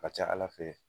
Ka ca ala fɛ